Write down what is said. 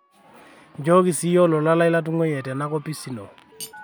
nchooki siiyie olola lai latunguayie tena kopis inyi